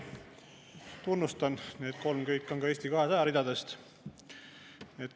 Tunnustan, kõik need kolm on Eesti 200 ridadest.